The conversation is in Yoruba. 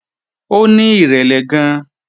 Ó ní ìrẹ̀lẹ̀ gan-an